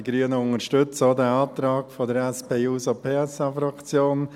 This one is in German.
Die Grünen unterstützen auch den Antrag der SP-JUSO-PSA-Fraktion.